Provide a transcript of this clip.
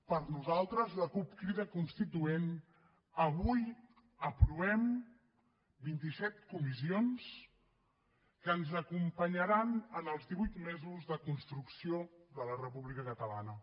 per nosaltres la cup crida constituent avui aprovem vint i set comissions que ens acompanyaran en els divuit mesos de construcció de la república catalana